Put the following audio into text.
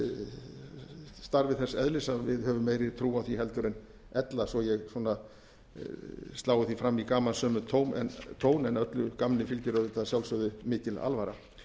gerir starfið þess eðlis að við höfum meiri trú á því en ella svo að ég slái því fram í gamansömum tón en öllu gamni fyrir auðvitað að sjálfsögðu mikil alvara